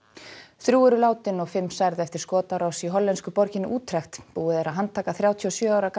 þrjú eru látin og fimm særð eftir skotárás í hollensku borginni búið er að handtaka þrjátíu og sjö ára